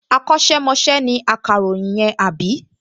Akọ́ṣẹ́mọṣẹ́ ni akàròyìn yẹn, àbí?